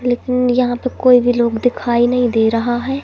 लेकिन यहां पे कोई भी लोग दिखाई नहीं दे रहा है।